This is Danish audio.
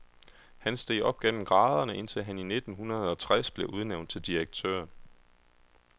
Han steg op gennem graderne, indtil han i nitten hundrede og tres blev udnævnt til direktør.